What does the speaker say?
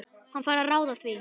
Hann fær að ráða því.